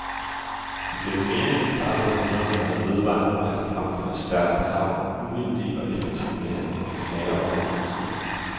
Igennem mere end et kvart århundrede har der vedvarende været fremført stærke krav om uvildig og effektiv behandling af klager over politiet.